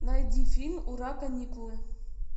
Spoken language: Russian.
найди фильм ура каникулы